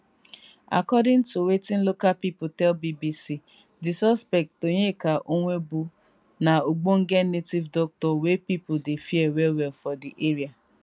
according to wetin local pipo tell bbc di suspect onyeka nwobu na ogbonge native doctor wey pipo dey fear wellwell for di area